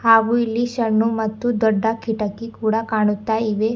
ಹಾಗೂ ಇಲ್ಲಿ ಶಣ್ಣು ಮತ್ತು ದೊಡ್ಡ ಕಿಟಕಿ ಕೂಡ ಕಾಣುತ್ತಾ ಇವೆ.